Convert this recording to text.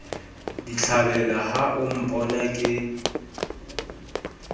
ditlhabela ha o mpona ke